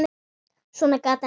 Svona gat hann ekki lifað.